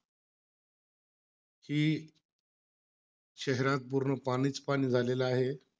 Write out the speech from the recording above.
कि शहरात पूर्ण पाणीचं पाणी झालेलं आहे.